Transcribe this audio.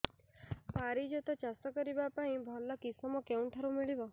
ପାରିଜାତ ଚାଷ କରିବା ପାଇଁ ଭଲ କିଶମ କେଉଁଠାରୁ ମିଳିବ